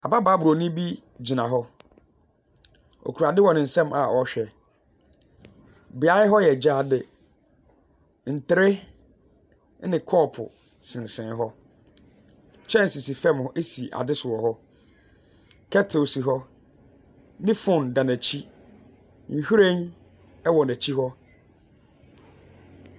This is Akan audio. Ababaawa buroni bi gyina hɔ. Ɔkura ade wɔ ne nsam a ɔrehwɛ. Beaeɛ hɔ yɛ gyaade. Ntere ne kɔɔpo sensɛne hɔ. Kyɛnsee si fa si ade so wɔ hɔ, kettle si hɔ, ne phone da n'akyi, nhwiren wɔ n'akyi hɔ.